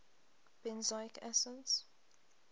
benzoic acids